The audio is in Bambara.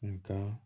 Nga